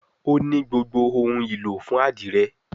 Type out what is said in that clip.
O ní gbogbo òun ìlò fún adire